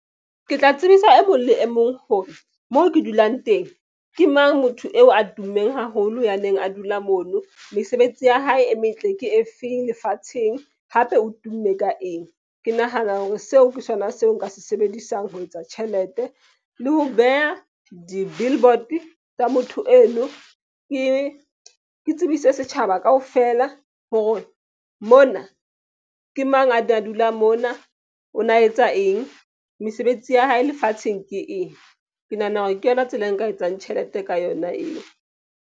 Ke tla tsebisa e mong le e mong hore mo ke dulang teng. Ke mang motho eo a tummeng haholo ya neng a dula mono. Mesebetsi ya hae e metle ke efeng lefatsheng hape o tumme ka eng? Ke nahana hore seo ke sona seo nka se sebedisang ho etsa tjhelete le ho beha di-billboard-e tsa motho eno. Ke tsebise setjhaba kaofela hore mona ke mang a ne a dula mona. O na etsa eng? Mesebetsi ya hae lefatsheng ke eng? Ke nahana hore ke yona tsela e nka etsang tjhelete ka yona eo.